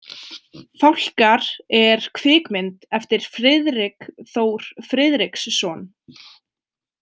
Fálkar er kvikmynd eftir Friðrik Þór Friðriksson.